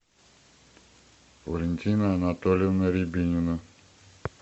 валентина анатольевна рябинина